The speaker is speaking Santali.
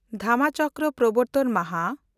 ᱫᱷᱟᱢᱟᱪᱚᱠᱨᱚ ᱯᱨᱚᱵᱚᱨᱛᱚᱱ ᱢᱟᱦᱟ